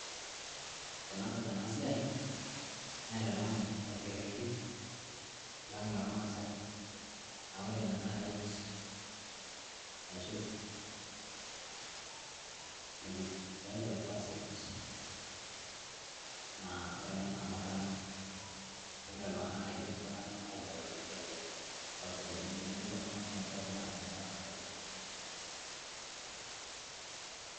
tenadol ena siai naitadamu orkerreti lang lormaasae aa ore ina naa rite ashu rite of passage naa ore ena naa murrano engira iltung'anak aidip murrano ailepaki esiai orpayiani, tenidip oltung'ani ataa ormurrani neeku orpayian.